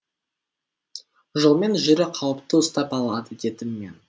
жолмен жүру қауіпті ұстап алады дедім мен